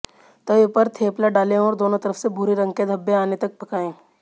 तवे पर थेपला डालें और दोनों तरफ से भूरे रंग के धब्बे आने तक पकाएं